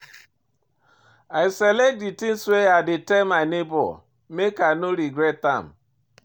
I select di tins wey I dey tell my nebor make I no regret am.